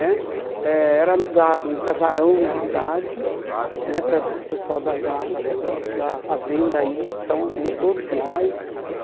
Né Eh era alugado um casarão na cidade né, para o pessoal da da da das da fazenda ir, então ia todos nós.